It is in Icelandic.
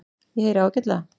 Ég heyri ágætlega.